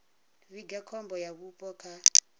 vhiga khombo ya vhupo kha